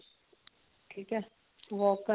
ਠੀਕ ਹੈ walk